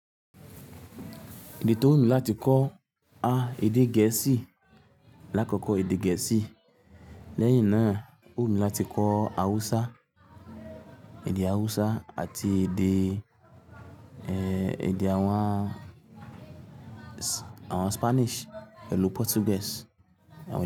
Ìdí tó wù mí láti kọ́ èdè gẹ̀ẹ́sì lákọ̀Kọ̀ èdè gẹ̀ẹ́sì lẹ́yìn náà wù mí láti kọ́ Hausa, èdè Hausa àti èdè, èdè àwọn Spanish pẹ̀lú Portuguese.